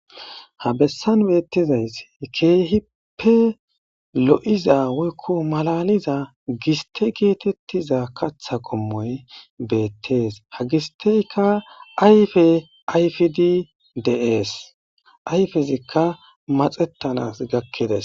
Ha bessan beettizays keehippe lo7iza wuykko malaliza giste geetettiza katha qommoy beettees ha gisteyka ayfe ayfidi dees ayfezikka maxettanas gakkides.